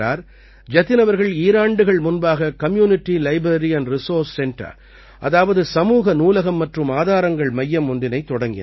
ஜதின் அவர்கள் ஈராண்டுகள் முன்பாக community library and resource centre அதாவது சமூக நூலகம் மற்றும் ஆதாரங்கள் மையம் ஒன்றினைத் தொடங்கினார்